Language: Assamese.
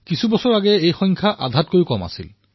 কিছু বৰ্ষ পূৰ্বে ইয়াৰে আধাও নাছিল